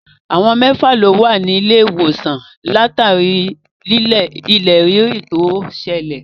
Àwọn mẹ́fà lo wà nílé ìwòsàn látàrí ilẹ̀ rírì tó ṣẹlẹ̀.